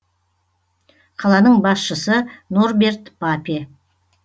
қаланың басшысы норберт папе